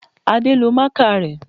Adé lo máàkà rẹ